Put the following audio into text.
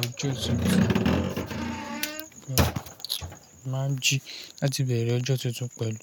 ọjọ́ tuntun. Máa ń jí láti bẹ̀rẹ̀ ọjọ́ tuntun pẹ̀lú